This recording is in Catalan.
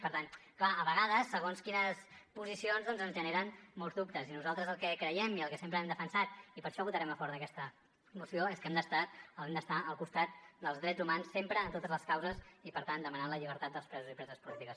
per tant clar a vegades segons quines posicions doncs ens generen molts dubtes i nosaltres el que creiem i el que sempre hem defensat i per això votarem a favor d’aquesta moció és que hem d’estar al costat dels drets humans sempre en totes les causes i per tant demanant la llibertat dels presos i preses polítiques